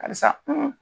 Karisa